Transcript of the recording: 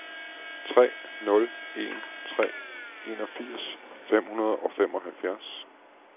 tre nul en tre enogfirs fem hundrede og femoghalvfjerds